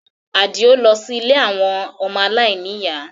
Adio lọ sí ilé àwọn ọmọ aláìníyàá